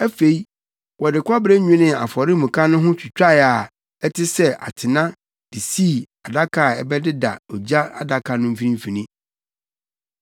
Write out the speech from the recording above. Afei, wɔde kɔbere nwenee afɔremuka no ho twitae a ɛte sɛ atena de sii adaka a ɛbɛdeda ogya adaka no mfimfini.